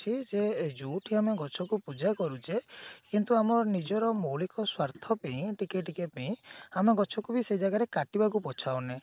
କି ଯେ ଯୋଉଠି ଆମେ ଗଛକୁ ପୂଜା କରୁଛେ କିନ୍ତୁ ଆମ ମୌଳିକ ସ୍ଵାର୍ଥ ପାଇଁ ଟିକେ ଟିକେ ପେଇଁ ଆମେ ଗଛ କୁ ବି ସେ ଜାଗାରେ ବି କାଟିବାକୁ ପଛାଉନେ